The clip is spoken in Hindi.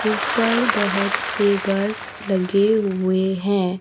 जिस पर बहोत से बस लगे हुए हैं।